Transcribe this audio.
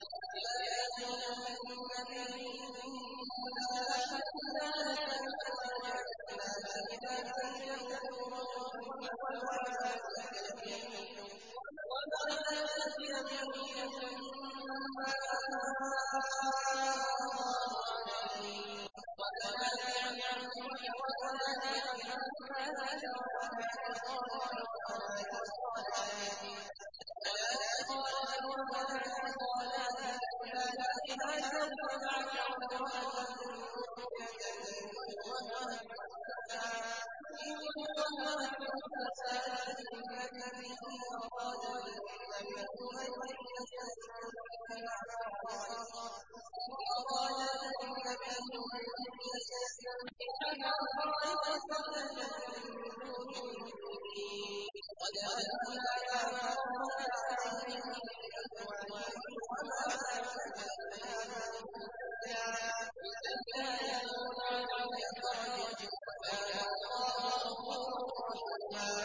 يَا أَيُّهَا النَّبِيُّ إِنَّا أَحْلَلْنَا لَكَ أَزْوَاجَكَ اللَّاتِي آتَيْتَ أُجُورَهُنَّ وَمَا مَلَكَتْ يَمِينُكَ مِمَّا أَفَاءَ اللَّهُ عَلَيْكَ وَبَنَاتِ عَمِّكَ وَبَنَاتِ عَمَّاتِكَ وَبَنَاتِ خَالِكَ وَبَنَاتِ خَالَاتِكَ اللَّاتِي هَاجَرْنَ مَعَكَ وَامْرَأَةً مُّؤْمِنَةً إِن وَهَبَتْ نَفْسَهَا لِلنَّبِيِّ إِنْ أَرَادَ النَّبِيُّ أَن يَسْتَنكِحَهَا خَالِصَةً لَّكَ مِن دُونِ الْمُؤْمِنِينَ ۗ قَدْ عَلِمْنَا مَا فَرَضْنَا عَلَيْهِمْ فِي أَزْوَاجِهِمْ وَمَا مَلَكَتْ أَيْمَانُهُمْ لِكَيْلَا يَكُونَ عَلَيْكَ حَرَجٌ ۗ وَكَانَ اللَّهُ غَفُورًا رَّحِيمًا